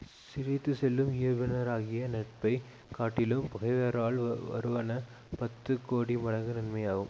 சிரித்துச் செல்லும் இயல்பினராகிய நட்பை காட்டிலும் பகைவரால் வருவன பத்து கோடி மடங்கு நன்மையாம்